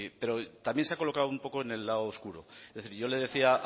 pero también se ha colocado un poco en el lado oscuro es decir yo le decía